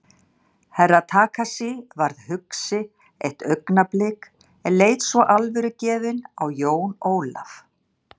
Herra Takashi varð hugsi eitt augnablik en leit svo alvörugefinn á Jón Ólaf.